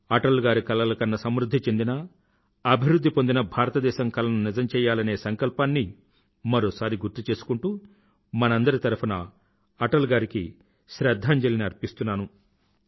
అటల్ గారు కలలు కన్న సమృధ్ధి చెందిన అభివృధ్ధి పొందిన భారతదేశం కలను నిజం చెయ్యాలనే సంకల్పాన్ని మరోసారి గుర్తుచేసుకుంటూ మనందరి తరఫునా అటల్ గారికి శ్రధ్ధాంజలిని అర్పిస్తున్నాను